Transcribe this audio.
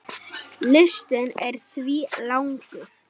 Listinn er því langur.